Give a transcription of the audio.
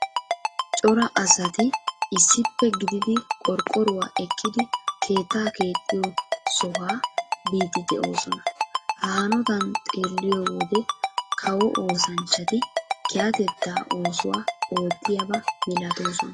Cora asati issippe gididi qorqqoruwa ekkidi keettaa keexxiyo sohaa biiddi de'oosona. Ha hanotan xeelliyo wode kawo oosanchchati kehatettaa oosuwa oottiyaba milatoosona.